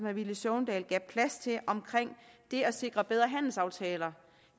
villy søvndal gav plads til omkring det at sikre bedre handelsaftaler